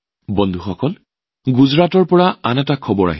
বন্ধুসকল গুজৰাটৰ পৰাই আন এক তথ্য আহিছে